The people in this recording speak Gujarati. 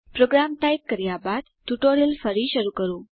પ્રોગ્રામ ટાઈપ કર્યા બાદ ટ્યુટોરીયલ ફરી શરૂ કરો